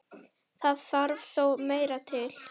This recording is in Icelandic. Það þarf þó meira til.